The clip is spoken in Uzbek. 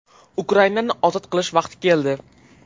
Ukrainani ozod qilish vaqti keldi.